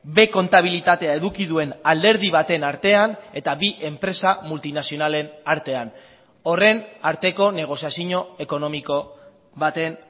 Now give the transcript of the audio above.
b kontabilitatea eduki duen alderdi baten artean eta bi enpresa multinazionalen artean horren arteko negoziazio ekonomiko baten